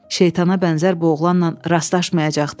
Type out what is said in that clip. Şeytana bənzər bu oğlanla rastlaşmayacaqdı.